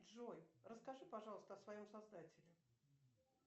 джой расскажи пожалуйста о своем создателе